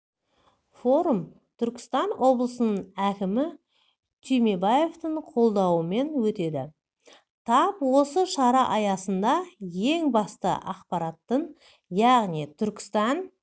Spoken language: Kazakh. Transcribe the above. форум түркістан облысының әкімі түймебаевтың қолдауымен өтеді тап осы шара аясында ең басты ақпараттың яғни түркістан